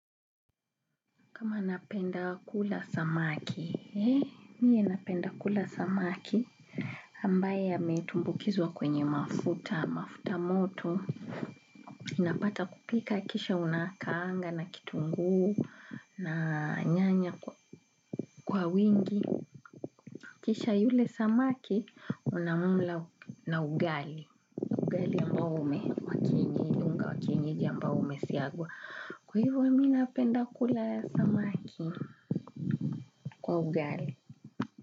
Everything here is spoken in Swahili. Kama napenda kula samaki, mie napenda kula samaki ambae ametumbukizwa kwenye mafuta, mafuta moto, inapata kupika kisha unakaanga na kitunguu na nyanya kwa wingi. Kisha yule samaki unamumla na ugali, ugali ambao ume, wakienyeji unga ambao ume siagwa. Kwa hivyo mie napenda kula samaki kwa ugali.